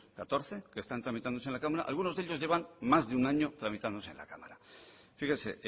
catorce que están tramitándose en la cámara algunos de ellos llevan más de un año tramitándose en la cámara fíjese